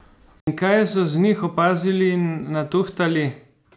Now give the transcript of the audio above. In kaj so z njih opazili in natuhtali?